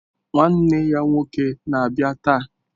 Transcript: Nwanne ya nwoke na-abịa taa.